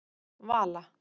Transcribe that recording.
Vala